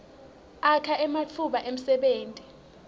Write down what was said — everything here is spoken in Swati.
akha ematfuba emsebenti